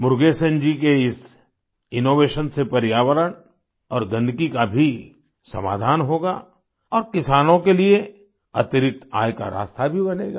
मुरुगेसन जी के इस इनोवेशन से पर्यावरण और गंदगी का भी समाधान होगा और किसानों के लिए अतिरिक्त आय का रास्ता भी बनेगा